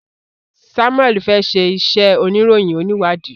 Samuel fè ṣe iṣé oníròyìn oniwadi.